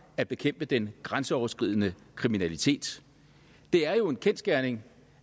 at bekæmpe den grænseoverskridende kriminalitet det er jo en kendsgerning